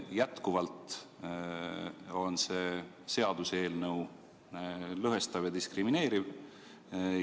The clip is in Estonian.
Jätkuvalt on see seaduseelnõu lõhestav ja diskrimineeriv.